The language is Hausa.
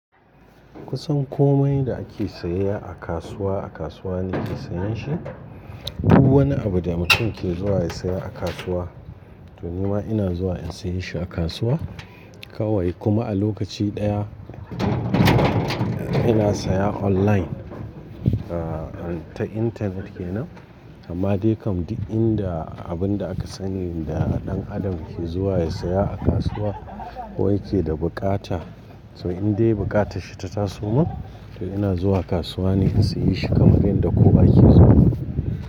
Kusan komai da ake saye a kasuwa, a kasuwa nake sayan shi. Duk wani abu da mutum ke zuwa ya saya a kasuwa, to ni ma ina zuwa in sayi shi a kasuwa. Kawai kuma a lokaci ɗaya ina saya online, ah, ta internet kenan. Amma dai kam duk inda abin da aka sani da ɗan adam ke zuwa ya saya a kasuwa ko yake da bukata, to in dai bukatarsa ta taso min, to ina zuwa kasuwa ne in sayi shi kamar dai da ko ake so.